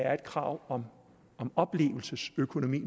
er et krav om oplevelsesøkonomi